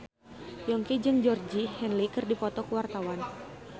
Yongki jeung Georgie Henley keur dipoto ku wartawan